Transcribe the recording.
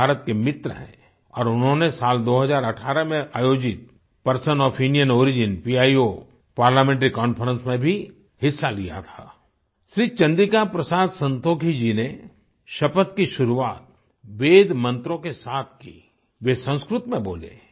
वे भारत के मित्र हैं और उन्होंने साल 2018 में आयोजित person of Indian origin PIO parliamentary conference में भी हिस्सा लिया था आई श्री चन्द्रिका प्रसाद संतोखी जी ने शपथ की शुरुआत वेद मन्त्रों के साथ की वे संस्कृत में बोले